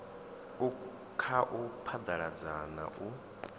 u khau phaḓalazwa na u